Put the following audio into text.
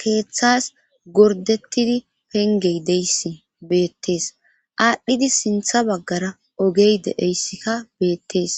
keeththas gordettidi pengey de'iyayssi beettes. aadhdhidi sintha baggara ogey de7eyssikka beettees.